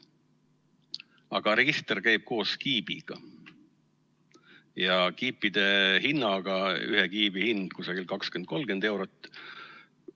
Aga register käib koos kiibiga ja kiipide hinnaga, ühe kiibi hind on 20–30 eurot.